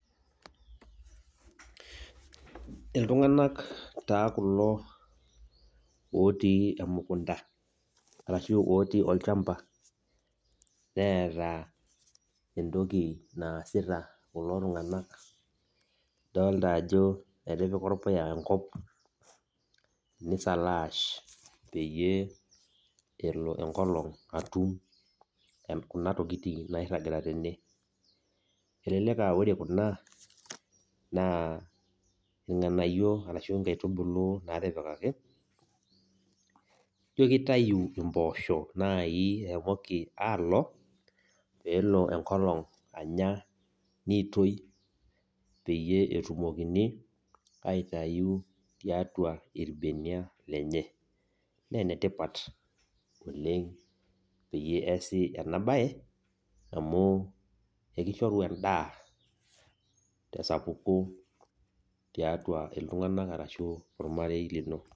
Ilntunganak taa kulo otii emukunda, arashu otii ollchamba neeta entoki naasita kulo tung'anak doolta ajo etipia orpuya enkop peyie elo enkolong' atum kuna tokiting' nairagita tene elelek aa ore kuna naa inkaitibulu arashu irganayio naatipikaki ijo kitau mpooshi naji eshomoki alo peelo enkolong' ailang piitoi oeetumokini aitau tiatua imbeniak enye naa enetipat oleng' peyie iasi ena baye amu keishoru endaa tesapoki tiatua iltung'anak araki tiatua ormarei lino.